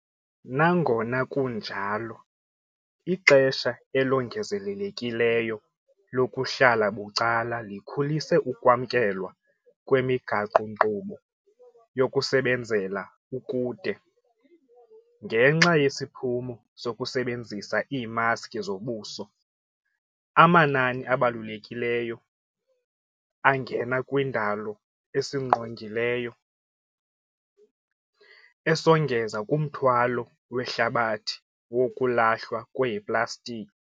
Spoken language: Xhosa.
Nangona kunjalo, ixesha elongezelelekileyo lokuhlala bucala likhulise ukwamkelwa kwemigaqo-nkqubo yokusebenzela ukude. Ngenxa yesiphumo sokusebenzisa iimaski zobuso, amanani abalulekileyo angena kwindalo esingqongileyo, esongeza kumthwalo wehlabathi wokulahlwa kweeplastiki.